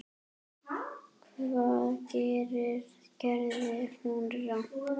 Hvað gerði hún rangt?